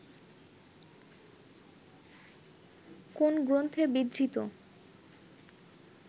কোন গ্রন্থে বিধৃত